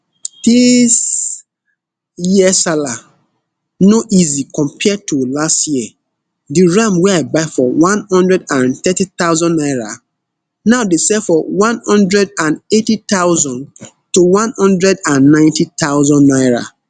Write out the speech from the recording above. dis year sallah no easy compared to last year di ram wey i buy for one hundred and thirty thousand naira now dey sell for one hundred and eighty thousand to one hundred and ninety thousand naira